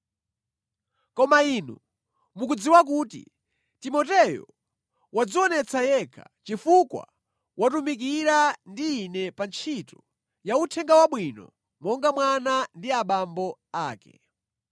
Koma inu mukudziwa kuti Timoteyo wadzionetsa yekha, chifukwa watumikira ndi ine pa ntchito ya Uthenga Wabwino monga mwana ndi abambo ake.